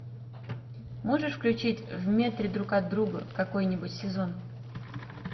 можешь включить в метре друг от друга какой нибудь сезон